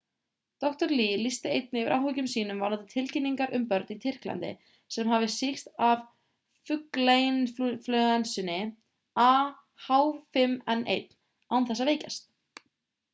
dr. lee lýsti einnig yfir áhyggjum sínum varðandi tilkynningar um börn í tyrklandi sem hafi sýkst af fuglainflúensunni ah5n1 án þess að veikjast